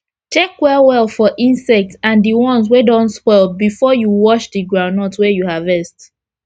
check well well for insect and d ones wey don spoil before you wash d groundnut wey u harvest